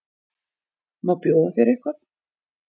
Má bjóða þér eitthvað?